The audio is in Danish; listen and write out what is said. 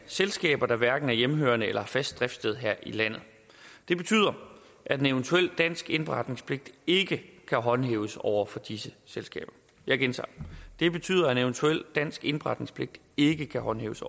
selskaber der hverken er hjemmehørende eller har fast driftssted her i landet det betyder at en eventuel dansk indberetningspligt ikke kan håndhæves over for disse selskaber jeg gentager det betyder at en eventuel dansk indberetningspligt ikke kan håndhæves